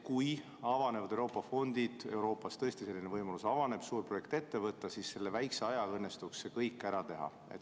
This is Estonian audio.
Kui avanevad Euroopa fondid ja tõesti avaneb selline võimalus suur projekt ette võtta, siis selle väikese ajaga õnnestuks see kõik ära teha.